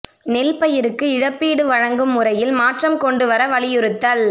நெல் பயிறுக்கு இழப்பீடு வழங்கும் முறையில் மாற்றம் கொண்டு வர வலியுறுத்தல்